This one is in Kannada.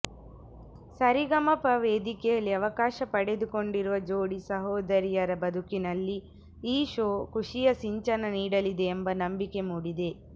ಸರಿಗಮಪ ವೇದಿಕೆಯಲ್ಲಿ ಅವಕಾಶ ಪಡೆದುಕೊಂಡಿರುವ ಜೋಡಿ ಸಹೋದರಿಯರ ಬದುಕಿನಲ್ಲಿ ಈ ಶೋ ಖುಷಿಯ ಸಿಂಚನ ನೀಡಲಿದೆ ಎಂಬ ನಂಬಿಕೆ ಮೂಡಿದೆ